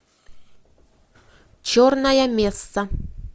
черная месса